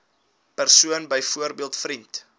persoon byvoorbeeld vriend